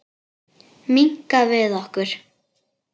Minnka við okkur.